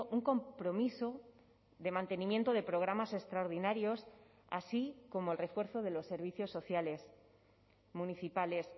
un compromiso de mantenimiento de programas extraordinarios así como el refuerzo de los servicios sociales municipales